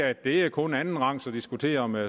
at det kun er andenrangs at diskutere med